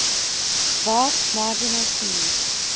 vast marginal seas